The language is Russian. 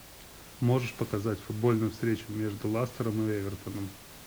можешь показать футбольную встречу между лестером и эвертоном